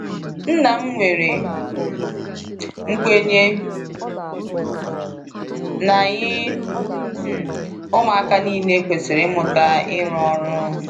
Nna m nwere um nkwenye na anyị um ụmụaka niile kwesịrị ịmụta ịrụ ọrụ.